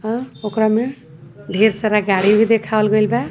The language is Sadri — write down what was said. अ ओकरा में ढेर सारा गाड़ी भी देखावल गइल बा।